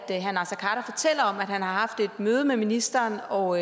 han har haft et møde med ministeren og